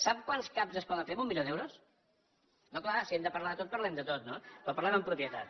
sap quants cap es poden fer amb un milió d’euros no clar si hem de parlar de tot parlem de tot no però parlem amb propietat